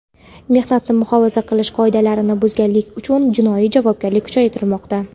mehnatni muhofaza qilish qoidalarini buzganlik uchun jinoiy javobgarlik kuchaytirilmoqda.